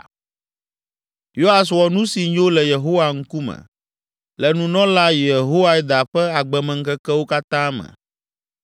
Yoas wɔ nu si nyo le Yehowa ŋkume, le nunɔla Yehoiada ƒe agbemeŋkekewo katã me.